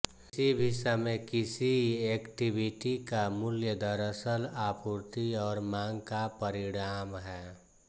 किसी भी समय किसी इक्विटी का मूल्य दरअसल आपूर्ति और मांग का परिणाम है